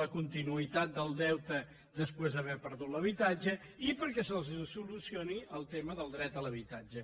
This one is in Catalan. la continuïtat del deute després d’haver perdut l’habitatge i perquè se’ls solucioni el tema del dret a l’habitatge